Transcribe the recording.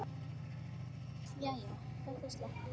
Jæja, þetta slapp.